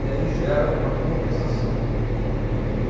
E aí gera uma compensação.